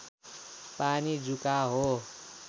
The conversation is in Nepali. पानी जुका हो